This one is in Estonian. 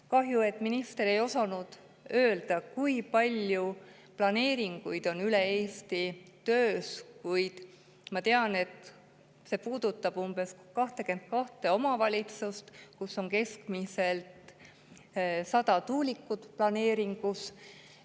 Kahju, et minister ei osanud öelda, kui palju planeeringuid on üle Eesti töös, kuid ma tean, et see puudutab umbes 22 omavalitsust, kus on keskmiselt 100 tuulikut planeeringus.